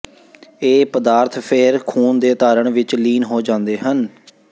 ਇਹ ਪਦਾਰਥ ਫਿਰ ਖੂਨ ਦੇ ਧਾਰਣ ਵਿੱਚ ਲੀਨ ਹੋ ਜਾਂਦੇ ਹਨ